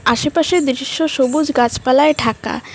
আশেপাশের দৃশ্য সবুজ গাছপালায় ঢাকা।